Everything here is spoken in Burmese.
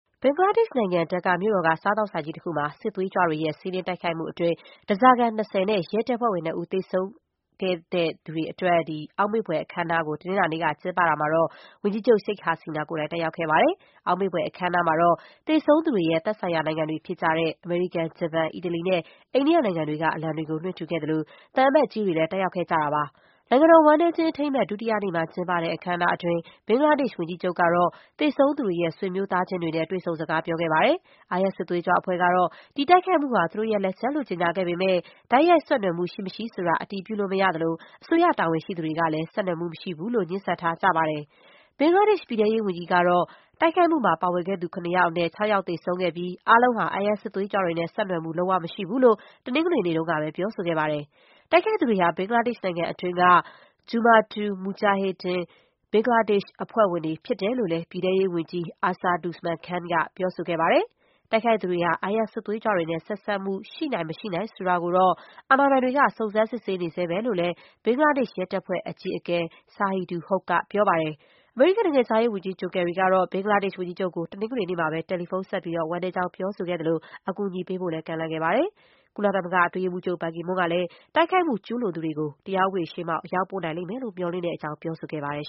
ဘင်္ဂလားဒေ့ရှ်နိုင်ငံ ဒက္ကာ မြို့တော်က စားသောက်ဆိုင်ကြီးတခုမှာ စစ်သွေးကြွတွေရဲ့ စီးနင်းတိုက်ခိုက်မှုအတွင်း သေဆုံးခဲ့တဲ့ ဓားစာခံ ၂၀ နဲ့ ရဲတပ်ဖွဲ့ဝင် ၂ ဦး တို့အတွက် အောက်မေ့ဖွယ် အခမ်းအနား တနင်္လာနေ့က ကျင်းပရာမှာ ဝန်ကြီးချုပ် Sheikh Hasina တက်ရောက်ခဲ့ပါတယ်။ အောက်မေ့ဖွယ် အခမ်းအနားမှာတော့ သေဆုံးသူတွေရဲ့ သက်ဆိုင်ရာ နိုင်ငံတွေ ဖြစ်ကြတဲ့ အမေရိကန်၊ ဂျပန်၊ အီတလီနဲ့ အိန္ဒိယနိုင်ငံတွေက အလံတွေကို လွှင့်ထူခဲ့သလို၊ သံအမတ်ကြီးတွေလည်း တက်ရောက် ခဲ့ကြပါတယ်။ နိုင်ငံတော် ဝမ်းနည်းခြင်း အထိမ်းအမှတ် ဒုတိယနေ့မှာ ကျင်းပတဲ့ အခမ်းအနား အတွင်း ဘင်္ဂလားဒေ့ရှ် ဝန်ကြီးချုပ်ကတော့ သေဆုံးသူတွေ ရဲ့ ဆွေမျိုးသားချင်းတွေနဲ့ တွေ့ဆုံစကားပြောခဲ့ပါတယ်။ IS စစ်သွေးကြွအဖွဲ့ကတော့ တိုက်ခိုက်မှုဟာ သူတို့လက်ချက်လို့ ကြေညာခဲ့ပေမဲ့၊ တိုက်ရိုက်ဆက်နွယ်မှု ရှိမရှိဆိုတာ အတည်ပြုလို့ မရသလို၊ အစိုးရတာဝန်ရှိသူတွေကလည်း ဆက်နွယ်မှုမရှိဘူးလို့ ငြင်းဆန်ထားကြတာပါ။ ဘင်္ဂလားဒေ့ရှ် ပြည်ထဲရေးဝန်ကြီးကတော့ တိုက်ခိုက်မှုမှာ ပါဝင်ခဲ့သူ ၇ ယောက်အနက်၊ ၆ ယောက် သေဆုံးခဲ့ပြီး၊ အားလုံးဟာ IS စစ်သွေးကြွတွေနဲ့ ဆက်နွယ်မှု လုံးဝမရှိဘူးလို့ တနင်္ဂနွေနေ့တုန်းကပဲ ပြောဆိုခဲ့ပါတယ်။ တိုက်ခိုက်သူတွေဟာ ဘင်္ဂလားဒေ့ရှ်နိုင်ငံတွင်းက Jumatul Mujahedeen Bangladesh (JMB) အဖွဲ့ဝင်တွေ ဖြစ်တယ်လို့လည်း ပြည်ထဲရေးဝန်ကြီး Asaduzzaman Khan က ပြောဆိုခဲ့တာပါ။ တိုက်ခိုက်သူတွေဟာ IS စစ်သွေးကြွတွေနဲ့ ဆက်နွယ်မှု ရှိနိုင်-မရှိနိုင် ဆိုတာကိုတော့ အာဏာပိုင်တွေက စုံစမ်းစစ်ဆေး နေတုန်းပဲလို့လည်း ဘင်္ဂလားဒေ့ရှ်ရဲတပ်ဖွဲ့ အကြီးအကဲ Shahidul Hoque ကပြောပါတယ်။ အမေရိကန်နိုင်ငံခြားရေးဝန်ကြီး John Kerry ကတော့ ဘင်္ဂလားဒေ့ရှ် ဝန်ကြီးချုပ်ကို တနင်္ဂနွေနေ့မှာပဲ တယ်လီဖုန်းဆက်ပြီး၊ ဝမ်းနည်းကြောင်း ပြောဆိုခဲ့သလို၊ အကူအညီပေးဖို့လည်း ကမ်းလှမ်းခဲ့တာပါ။ ကုလသမဂ္ဂအတွင်းရေးမှူးချုပ် ဘန်ကီမွန်းကလည်း တိုက်ခိုက်မှု ကျုးလွန်သူတွေကို တရားဥပဒေရှေ့မှောက် အရောက်ပို့နိုင်လိမ့်မယ်လို့ မျှော်လင့်ကြောင်း ပြောဆိုခဲ့ပါတယ်